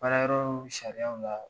Baara yɔrɔ sariaw la